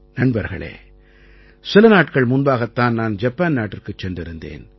நண்பர்களே சில நாட்கள் முன்பாகத் தான் நான் ஜப்பான் நாட்டிற்குச் சென்றிருந்தேன்